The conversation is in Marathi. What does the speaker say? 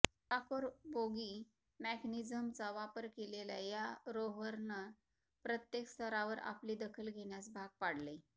रॉकर बोगी मेकॅनिझमचा वापर केलेल्या या रोव्हरनं प्रत्येक स्तरावर आपली दखल घेण्यास भाग पाडलंय